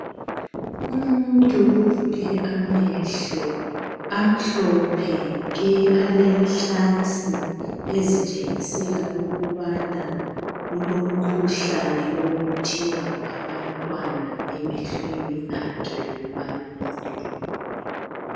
Umuntu uvule amehlo amhlophe nke alenhlansi ezitshengisela ukubana kulomkhuhlane okuthiwa ngabantwana emehlweni akhe womabili.